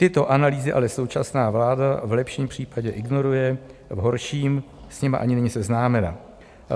Tyto analýzy ale současná vláda v lepším případě ignoruje, v horším s nimi ani není seznámena.